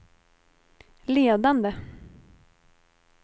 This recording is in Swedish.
ledande